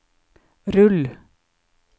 rull